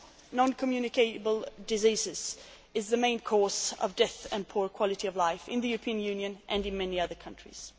Non communicable diseases are the main cause of death and poor quality of life in the European Union and in many other countries.